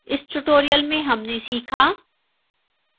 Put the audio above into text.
इस tutorial में हमने सीखाः